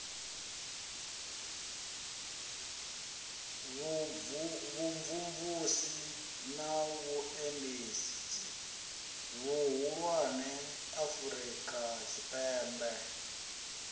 vhumvumvusi na vhuendedzi vhuhulwane afurikatshipembe